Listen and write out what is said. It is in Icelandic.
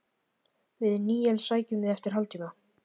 Við Níels sækjum þig eftir hálftíma.